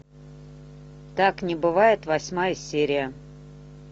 так не бывает восьмая серия